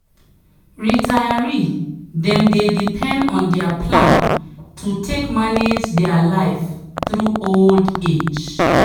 retiree dem dey depend on their plan to take manage their life through old age.